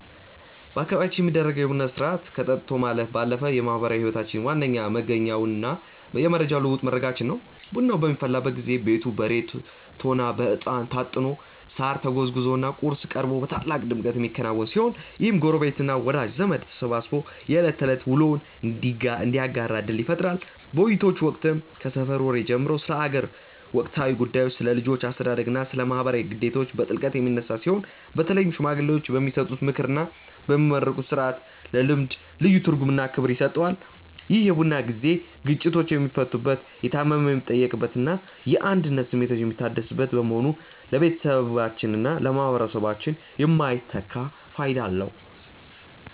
በአካባቢያችን የሚደረገው የቡና ሥርዓት ከጠጥቶ ማለፍ ባለፈ የማኅበራዊ ሕይወታችን ዋነኛ መገኛውና የመረጃ ልውውጥ መድረካችን ነው። ቡናው በሚፈላበት ጊዜ ቤቱ በሬቶና በዕጣን ታጥኖ፣ ሳር ተጎዝጉዞና ቁርስ ቀርቦ በታላቅ ድምቀት የሚከናወን ሲሆን፣ ይህም ጎረቤትና ወዳጅ ዘመድ ተሰባስቦ የዕለት ተዕለት ውሎውን እንዲያጋራ ዕድል ይፈጥራል። በውይይቶች ወቅትም ከሰፈር ወሬ ጀምሮ ስለ አገር ወቅታዊ ጉዳዮች፣ ስለ ልጆች አስተዳደግና ስለ ማኅበራዊ ግዴታዎች በጥልቀት የሚነሳ ሲሆን፣ በተለይም ሽማግሌዎች የሚሰጡት ምክርና የሚመረቅበት ሥርዓት ለልምዱ ልዩ ትርጉምና ክብር ይሰጠዋል። ይህ የቡና ጊዜ ግጭቶች የሚፈቱበት፣ የታመመ የሚጠየቅበትና የአንድነት ስሜታችን የሚታደስበት በመሆኑ ለቤተሰባችንና ለማኅበረሰባችን የማይተካ ፋይዳ አለው።